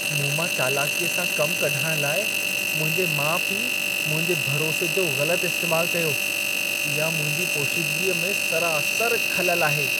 मूंमां चालाकीअ सां कम कढाइण लाइ मुंहिंजे माउ-पीउ मुंहिंजे भरोसे जो ग़लत इस्तैमाल कयो। इहा मुंहिंजी पोशीदगीअ में सरासरु ख़ललु आहे।